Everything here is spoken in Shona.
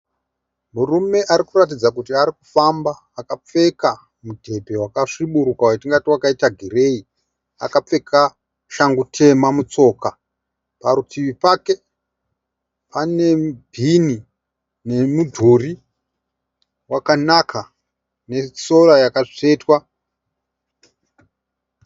Murume arikuratidza kuti arikufamba. Akapfeka mubhedhe vakasviburuka watingati wakaita gireyi. Akapfeka shangu tema mutsoka. Parutivi pake pane bhini nemudhuri wakanaka nesora yakatsvetwa.